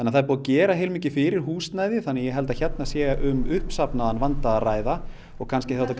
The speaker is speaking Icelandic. það er búið að gera heilmikið fyrir húsnæðið þannig að ég held að hér sé um uppsafnaðan vanda að ræða og kannski hefði